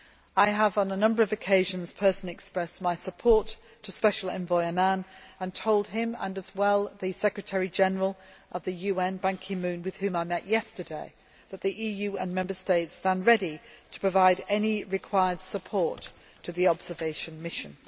I have, on a number of occasions, personally expressed my support to Special Envoy Annan and told him and the Secretary General of the UN, Ban Ki moon, with whom I met yesterday, that the EU and the Member States stand ready to provide any required support to the observation mission.